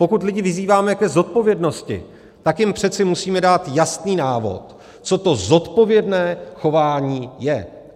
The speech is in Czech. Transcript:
Pokud lidi vyzýváme k zodpovědnosti, tak jim přece musíme dát jasný návod, co to zodpovědné chování je.